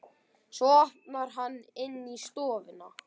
Svo opnar hann inn í stofuna.